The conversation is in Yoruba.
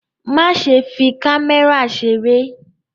Má ṣe fi kámẹ́rà ṣeré!